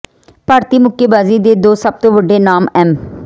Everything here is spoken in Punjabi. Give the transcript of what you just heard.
ਭਾਰਤੀ ਮੁੱਕੇਬਾਜ਼ੀ ਦੇ ਦੋ ਸਭ ਤੋਂ ਵੱਡੇ ਨਾਮ ਐਮ